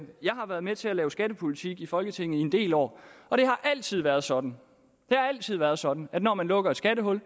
har været med til at lave skattepolitik i folketinget i en del år og det har altid været sådan været sådan at når man lukker et skattehul